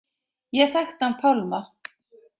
Ég þekkti hann Pálma.